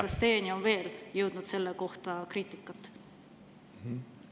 Kas teieni on veel jõudnud selle kohta kriitikat?